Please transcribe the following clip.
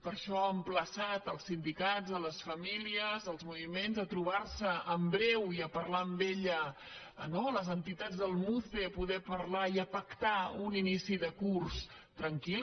per això ha emplaçat els sindicats les famílies els moviments a trobar se en breu i a parlar amb ella no les entitats del muce a poder parlar i a pactar un inici de curs tranquil